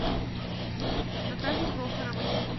наталье прохоровой